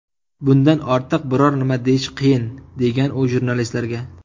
Bundan ortiq biror nima deyish qiyin”, degan u jurnalistlarga.